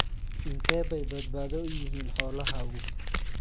Intee bay badbaado u yihiin xoolahaagu?